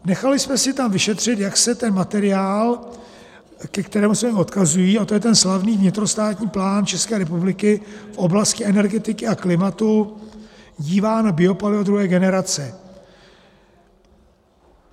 Nechali jsme si tam vyšetřit, jak se ten materiál, ke kterému se odkazují, a to je ten slavný vnitrostátní plán České republiky v oblasti energetiky a klimatu, dívá na biopaliva druhé generace.